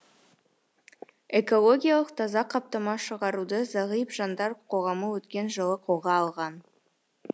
экологиялық таза қаптама шығаруды зағип жандар қоғамы өткен жылы қолға алған